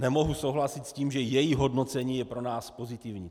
Nemohu souhlasit s tím, že její hodnocení je pro nás pozitivní.